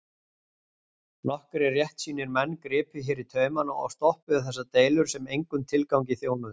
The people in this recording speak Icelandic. Nokkrir réttsýnir menn gripu hér í taumana og stoppuðu þessar deilur sem engum tilgangi þjónuðu.